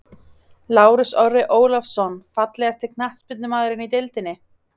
Lárus Orri Ólafsson Fallegasti knattspyrnumaðurinn í deildinni?